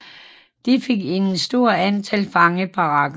Det fik et stort antal fangebarakker